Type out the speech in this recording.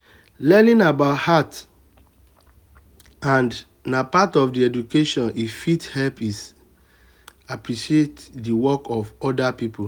learning about art and na part of education e fit help is appreciate the work of oda pipo